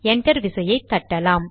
enter விசையை தட்டலாம்